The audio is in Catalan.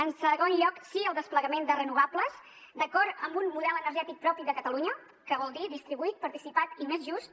en segon lloc sí al desplegament de renovables d’acord amb un model energètic propi de catalunya que vol dir distribuït participat i més just